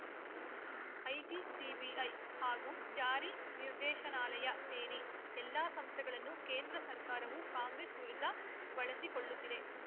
IT CBI ಹಾಗೂ ಜಾರಿ ನಿರ್ದೇಶನಾಲಯ ಸೇರಿ ಎಲ್ಲಾ ಸಂಸ್ಥೆಗಳನ್ನು ಕೇಂದ್ರ ಸರ್ಕಾರವು ಕಾಂಗ್ರೆಸ್‌ ವಿರುದ್ಧ ಬಳಸಿಕೊಳ್ಳುತ್ತಿದೆ